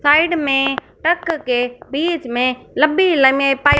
side में truck के बीचमें लंबी लंबी पाइप --